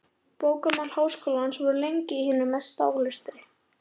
Bókamál Háskólans voru lengi í hinum mesta ólestri.